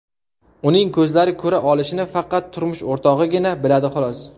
Uning ko‘zlari ko‘ra olishini faqat turmush o‘rtog‘igina biladi, xolos.